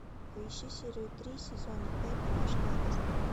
поищи серию три сезона пять домашний арест